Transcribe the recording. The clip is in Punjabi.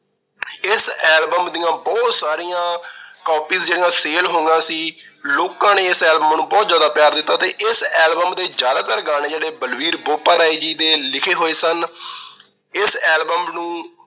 ਇਸ album ਦੀਆਂ ਬਹੁਤ ਸਾਰੀਆਂ copies ਜਿਹੜੀਆਂ sale ਹੋਈਆਂ ਸੀ, ਲੋਕਾਂ ਨੇ ਇਸ album ਨੂੰ ਬਹੁਤ ਜਿਆਦਾ ਪਿਆਰ ਦਿੱਤਾ ਤੇ ਇਸ album ਦੇ ਜਿਆਦਾਤਰ ਗਾਣੇ ਆ ਜਿਹੜੇ ਬਲਬੀਰ ਬੋਪਾਰਾਏ ਜੀ ਦੇ ਲਿਖੇ ਹੋਏ ਸਨ। ਇਸ album ਨੂੰ